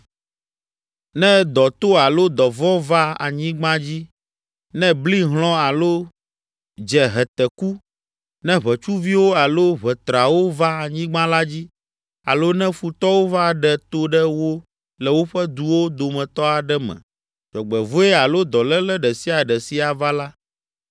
“Ne dɔ to alo dɔvɔ̃ va anyigba dzi, ne bli hlɔ̃ alo dze heteku, ne ʋetsuviwo alo ʋetrawo va anyigba la dzi alo ne futɔwo va ɖe to ɖe wo le woƒe duwo dometɔ aɖe me, dzɔgbevɔ̃e alo dɔléle ɖe sia ɖe si ava la,